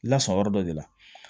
I lasɔngɔ yɔrɔ dɔ de la